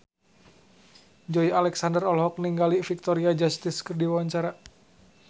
Joey Alexander olohok ningali Victoria Justice keur diwawancara